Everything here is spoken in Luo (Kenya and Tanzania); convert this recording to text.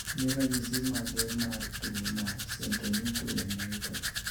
Gin ranyisi mage mar tuo mar Centronuclear myopathy?